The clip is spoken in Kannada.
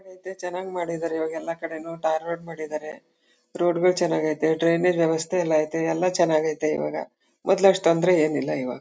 ಚನ್ನಾಗ್ ಐತೆ ಚನಾಗ್ ಮಾಡಿದ್ದಾರೆ ಇವಾಗ್ ಎಲ್ಲ ಕಡೆನೂ ಟಾರ್ ರೋಡ್ ಮಾಡಿದ್ದಾರೆ ರೋಡ್ ಗಳ್ ಚನಾಗ್ ಐತೆ ಟ್ರೈನ್ ದ್ ವ್ಯವಸ್ಥೆ ಎಲ್ಲ ಐತೆ ಎಲ್ಲ ಚನ್ನಾಗ್ ಐತೆ ಇವಾಗ ಮೊದ್ಲು ಅಷ್ಟ್ ತೊಂದರೆ ಏನಿಲ್ಲ ಇವಾಗ